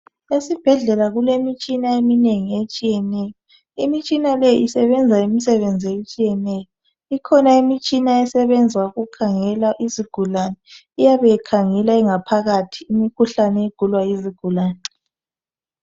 Esibhedlela kulemitshina eminengi etshiyeneyo. Imitshina le isebenza imisebenzi etshiyeneyo. Ikhona imitshina esebenza ukukhangela izigulane. Iyabe ikhangela ingaphakathi imikhuhlane egulwa yizigulane.